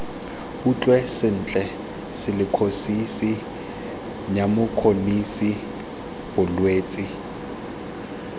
utlwe sentle silikhosisi nyumokhonosisi bolwetse